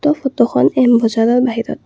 এই ফটোখন এম বজাৰৰ বাহিৰত।